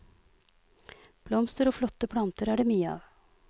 Blomster og flotte planter er det mye av.